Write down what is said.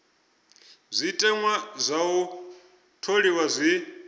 zwiteṅwa zwa u tholiwa zwi